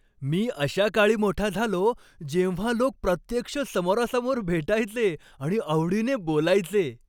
मी अशा काळी मोठा झालो, जेव्हा लोक प्रत्यक्ष समोरासमोर भेटायचे आणि आवडीने बोलायचे.